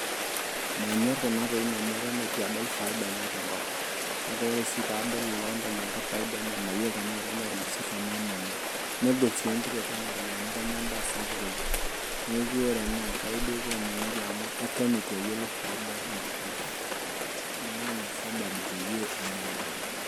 Manyorr kuna tokitin amu itu adol faida enye tenkolong' kake ore ake paadol ilootayioloita fadia enye mayiolo tenaa kenyai irmosorr enaa menyai negol sii enkitotio ena toki amu kenya endaa sapuk oleng' neeku ore ena Enkai duo kiomonoki amu eton itu ayiolou faida ena toki naa ina sababu peyie manyorr.